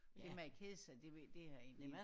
Det med at kede det ved det har jeg egentlig ikke